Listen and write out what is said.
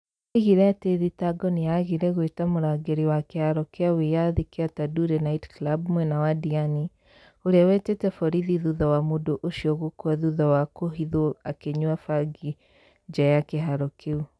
Oigire atĩ thitango nĩ yaagire gwĩta mũrangĩri wa kĩharo kĩa wĩyathi kĩa Tanduri night club mwena wa Diani ũrĩa wetĩte borithi thutha wa mũndũ ũcio gũkua thutha wa kũhithwo akĩnyua bangi nja ya kĩharo kĩu.